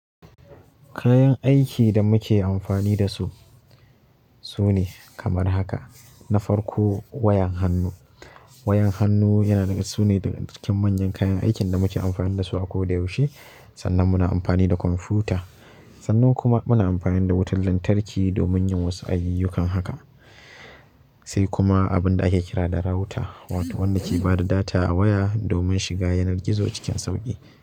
Kayan aikin da muke amfani da su sune kamar haka: na farko wayan hannu. Wayan hannu yana nuna su ne manyan kayan aikin da muke amfani da su a koda yaushe. Sannan muna amfani da kwamfuta, sannan kuma muna amfani da wutar lantarki domin yin wasu ayyukan haka. Sai kuma abin da ake kira da router wato wanda ke ba da data a waya domin shiga yanar gizo cikin sauƙi.